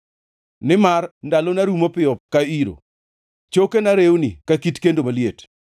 Nimar ndalona rumo piyo ka iro; chokena rewni ka kit kendo maliet.